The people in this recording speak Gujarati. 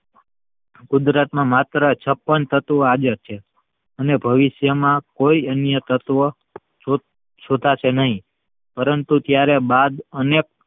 કુદરતમાં માત્ર છપ્પન તત્વ આગે છે. અને ભવિષ્ય્માં કોઈ અન્ય તત્વ ચોંટશે નહિ પરંતુ ત્યાર બાદ